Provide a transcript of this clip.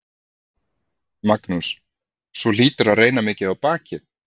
Magnús: Svo hlýtur að reyna mikið á bakið?